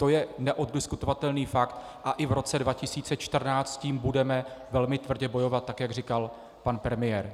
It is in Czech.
To je neoddiskutovatelný fakt a i v roce 2014 s tím budeme velmi tvrdě bojovat, tak jak říkal pan premiér.